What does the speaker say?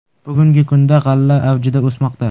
Bugungi kunda g‘alla avjida o‘smoqda.